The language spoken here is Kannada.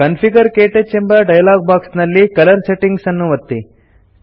ಕಾನ್ಫಿಗರ್ - ಕ್ಟಚ್ ಎಂಬ ಡಯಲಾಗ್ ಬಾಕ್ಸ್ ನಲ್ಲಿ ಕಲರ್ ಸೆಟ್ಟಿಂಗ್ಸ್ ಅನ್ನು ಒತ್ತಿ